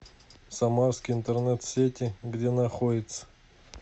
самарские интернет сети где находится